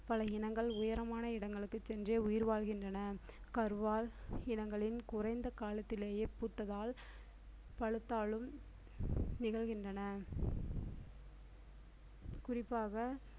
பல இனங்கள் உயரமான இடங்களுக்கு சென்றே உயிர் வாழ்கின்றன கருவால் இனங்களின் குறைந்த காலத்திலேயே பூத்ததால் பழுத்தாலும் நிகழ்கின்றன குறிப்பாக